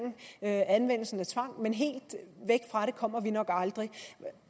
anvendelsen af tvang men helt væk fra det kommer vi nok aldrig